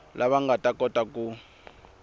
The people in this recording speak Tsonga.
lava nga ta kota ku